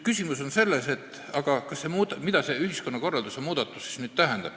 Küsimus on selles, mida see ühiskonnakorralduse muutmine tähendab.